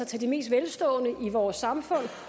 til de mest velstående i vores samfund